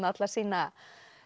alla sína